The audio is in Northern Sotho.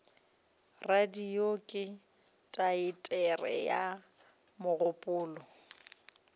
radio ke teatere ya mogopolo